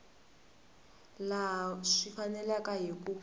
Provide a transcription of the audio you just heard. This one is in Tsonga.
laha swi faneleke hi ku